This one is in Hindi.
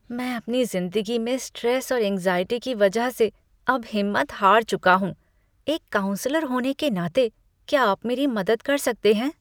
मैं अपनी ज़िंदगी में स्ट्रेस और एंग्ज़ाइटी की वजह से अब हिम्मत हार चुका हूँ, एक काउंसलर होने के नाते, क्या आप मेरी मदद कर सकते हैं?